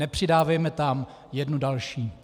Nepřidávejme tam jednu další.